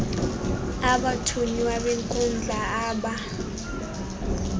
abathunywa benkundla aba